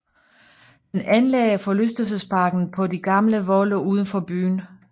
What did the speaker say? Han anlagde forlystelsesparken på de gamle volde uden for byen